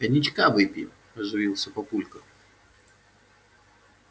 коньячка выпьем оживился папулька